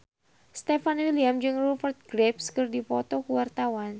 Stefan William jeung Rupert Graves keur dipoto ku wartawan